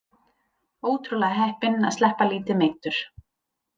Ótrúlega heppinn að sleppa lítið meiddur